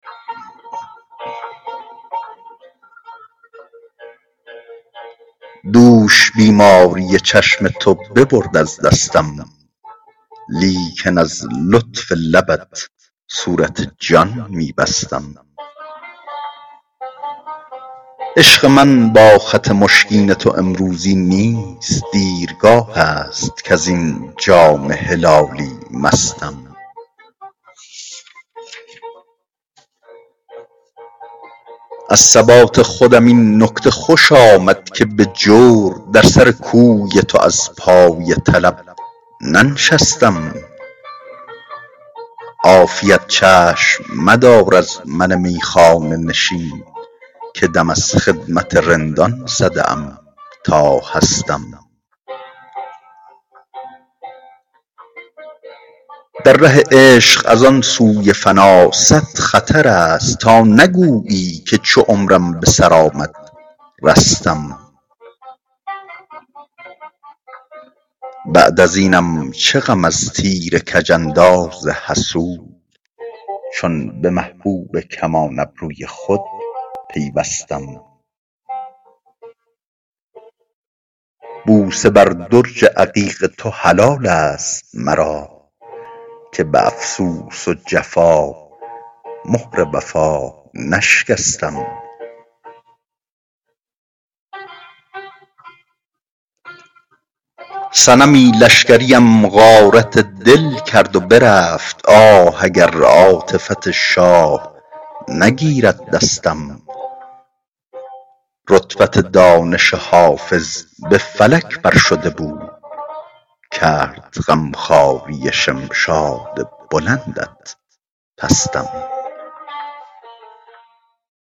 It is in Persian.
دوش بیماری چشم تو ببرد از دستم لیکن از لطف لبت صورت جان می بستم عشق من با خط مشکین تو امروزی نیست دیرگاه است کز این جام هلالی مستم از ثبات خودم این نکته خوش آمد که به جور در سر کوی تو از پای طلب ننشستم عافیت چشم مدار از من میخانه نشین که دم از خدمت رندان زده ام تا هستم در ره عشق از آن سوی فنا صد خطر است تا نگویی که چو عمرم به سر آمد رستم بعد از اینم چه غم از تیر کج انداز حسود چون به محبوب کمان ابروی خود پیوستم بوسه بر درج عقیق تو حلال است مرا که به افسوس و جفا مهر وفا نشکستم صنمی لشکریم غارت دل کرد و برفت آه اگر عاطفت شاه نگیرد دستم رتبت دانش حافظ به فلک بر شده بود کرد غم خواری شمشاد بلندت پستم